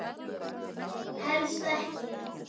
Helst ekki.